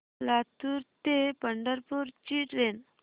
लातूर ते पंढरपूर ची ट्रेन